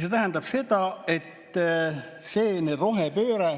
See tähendab seda, et rohepööre